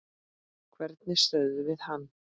Hvernig stöðvum við hann?